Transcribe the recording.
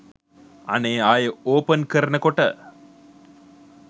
අනේ ආයෙ ඕපන් කරනකොට